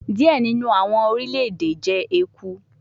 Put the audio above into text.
Diẹ ninu awọn orilẹ-ede jẹ eku